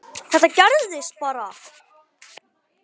Þetta gerðist bara?!